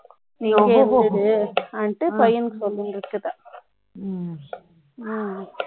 நீ இங்கே இருந்திருந்தால் பையன் கிட்ட சொல்லிட்டு இருக்கிறதா